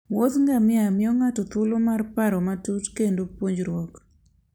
Wuoth ngamia miyo ng'ato thuolo mar paro matut kendo puonjruok.